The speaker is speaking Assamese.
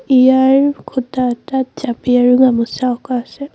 ইয়াৰ কোঠা এটাত জাপি আৰু গামোচা আছে।